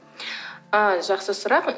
ы жақсы сұрақ